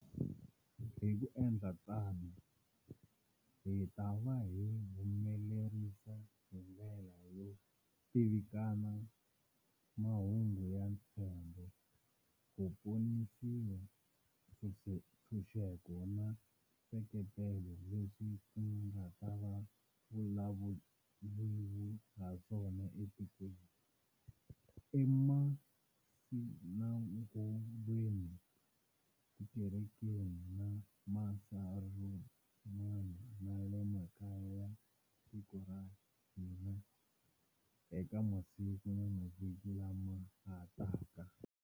Hi ku endla tano, hi ta va hi humelerisa hi ndlela yo tivikana mahungu ya ntshembo, ku ponisiwa, ntshunxeko na nseketelano leswi ku nga ta vulavuriwa haswona etikerekeni, emasinagogweni, tikerekeni ta masurumani na le makaya ya tiko ra ka hina eka masiku na mavhiki lama ha taka.